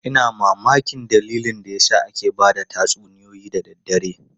Ina mamakin dalilin da yasa ake ba da tatsuniyoyi da daddare.